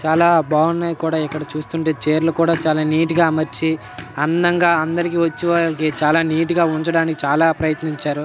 అలా బాగున్నాయి కూడా ఇక్కడ చూస్తుంటే చైర్లు కూడా నీట్ గా అమర్చి అందంగా అందరికీ వచ్చే వాళ్ళకి చాలా నీట్ గా ఉంచడానికి చాలా ప్రయత్నించారు.